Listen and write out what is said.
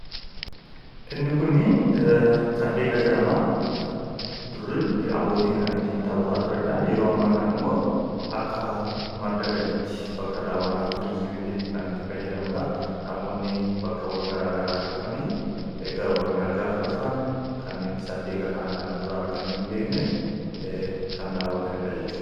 Inni kun saddeeqa jedhama. Dur abbootiin kan ittiin taphataa turanidha. Yeroo ammaa kanammoo akka madda galiitti bakka daawwannaa turizimiitti kan itti fayyadamnudha. Namoonni bakkeewwan garaagaraatii dhufanii gara Oromiyaa gaafa dhufan saddeeqa kana kana dura arganii hin beekne kan daawwatanidha jechuudha.